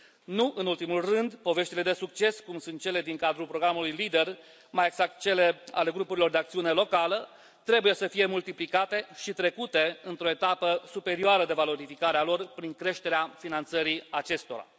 Nu în ultimul rând, poveștile de succes, cum sunt cele din cadrul programului Leader, mai exact cele ale grupurilor de acțiune locală, trebuie să fie multiplicate și trecute într o etapă superioară de valorificare a lor prin creșterea finanțării acestora.